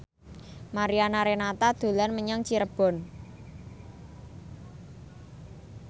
Mariana Renata dolan menyang Cirebon